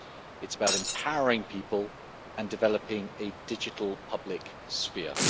It is about empowering people and developing a digital public sphere.